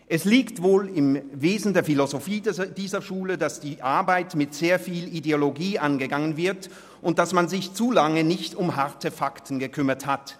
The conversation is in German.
Es liegt wohl im Wesen der Philosophie dieser Schule, dass die Arbeit mit sehr viel Ideologie angegangen wird und man sich zu lange nicht um harte Fakten gekümmert hat.